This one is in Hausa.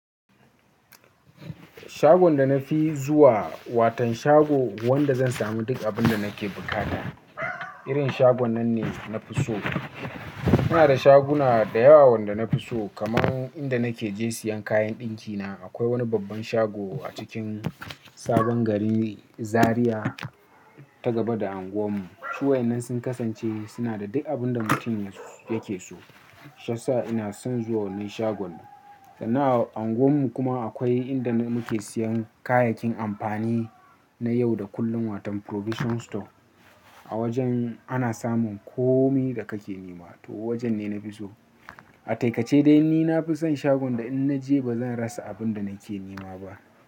Shagon da na fi zuwa, wani shago wanda zan sami duk abun da nake buƙata. Irin shagon nan ne na fi so. Muna da shaguna da yawa wanda na fi so, kamar inda nake zuwa siyan kayan ɗinkina. Akwai wani babban shago a cikin sabon gari Zaria ta gaba da anguwar mu. Su waɗannan sun kasance suna da duk abun da mutum yake so. Shi ya sa ina son zuwa wannan shagon. Sannan a anguwar mu kuma akwai inda muke siyan kayayyakin amfani na yau da kullum wato provision store. A wajen ana samun komai da kake nema, to wajen ne na fi so. A takaice dai ni nafi son shagon da in naje bazan rasa abun da nake nema ba.